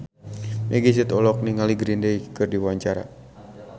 Meggie Z olohok ningali Green Day keur diwawancara